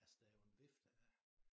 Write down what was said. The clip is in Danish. Altså der jo en vifte af